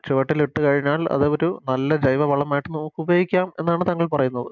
ചുവട്ടിലിട്ടുകഴിഞ്ഞാൽ അത് ഒരു നല്ല ജൈവവളമായിട്ട് നമുക്കുപയോഗിക്കാം എന്നാണ് താങ്കൾ പറയുന്നത്